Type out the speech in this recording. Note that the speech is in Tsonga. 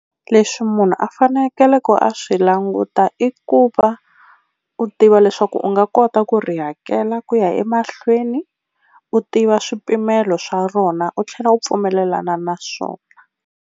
Leswi munhu a fanekele ku a swi languta i ku va u tiva leswaku u nga kota ku ri hakela ku ya emahlweni, u tiva swipimelo swa rona u tlhela u pfumelelana na swona.